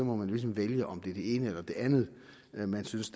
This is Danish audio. må man ligesom vælge om det er det ene eller det andet man synes